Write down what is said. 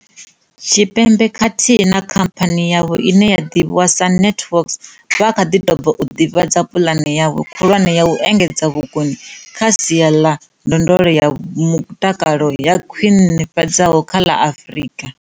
Tshipembe khathihi na khamphani yavho ine ya ḓivhiwa sa NantWorks vha kha ḓi tou bva u ḓivhadza pulane yavho khulwane ya u engedza vhukoni kha sia ḽa ndondolo ya mutakalo yo khwi nifhadzeaho kha ḽa Afrika.